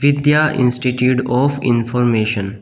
Vidya institute of information.